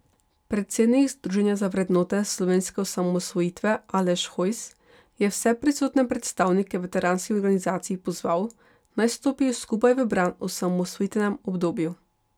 Predsednik združenja za vrednote Slovenske osamosvojitve Aleš Hojs je vse prisotne predstavnike veteranskih organizacij pozval, naj stopijo skupaj v bran osamosvojitvenemu obdobju.